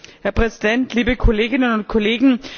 Herr Präsident, liebe Kolleginnen und Kollegen!